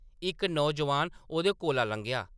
इक नौजोआन ओह्‌दे कोला लंघेआ।